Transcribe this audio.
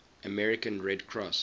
american red cross